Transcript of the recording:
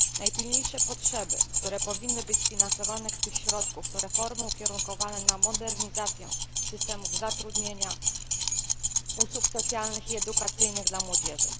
Najpilniejsze potrzeby, które powinny być sfinansowane z tych środków to reformy ukierunkowane na modernizację systemów zatrudnienia czy usług socjalnych i edukacyjnych dla młodzieży.